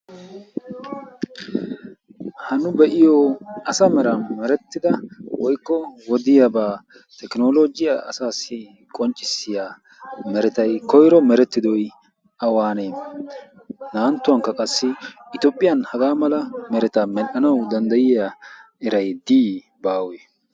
hanu be'iyo asa mera merettida woykko wodiyaabaa tekinoloogiyaa asaassi qonccissiya meretay koyro merettidoi awaanee na'anttuwankka qassi itoophiyan hagaa mala meretaa medhdhanawu danddayiya eray dii baawe?